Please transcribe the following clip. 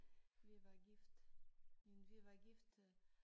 Vi var gift men vi var gift øh